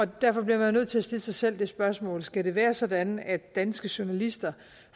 derfor bliver man nødt til at stille sig selv det spørgsmål skal det være sådan at danske journalister